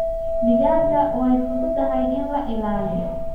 Digaagga way fududahay in la ilaaliyo.